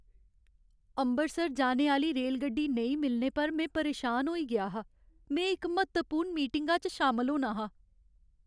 अमृतसर जाने आह्‌ली रेलगड्डी नेईं मिलने पर में परेशान होई गेआ हा, में इक म्हत्तवपूर्ण मीटिंगा च शामल होना हा ।